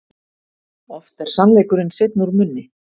Oft er sannleikurinn seinn úr munni.